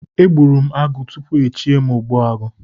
E gburu m agụ tupu echie m ogbuagu